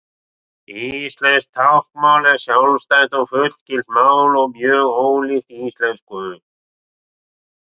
íslenskt táknmál er sjálfstætt og fullgilt mál og mjög ólíkt íslensku